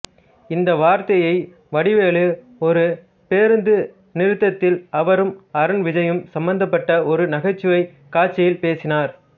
இந்த வார்த்தையை வடிவேலு ஒரு பேருந்து நிறுத்தத்தில் அவரும் அருண் விஜயும் சம்பந்தப்பட்ட ஒரு நகைச்சுவை காட்சியில் பேசினார்